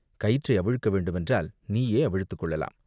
கயிற்றை அவிழ்க்க வேண்டுமென்றால் நீயே அவிழ்த்துக் கொள்ளலாம்.